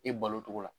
E balo togo la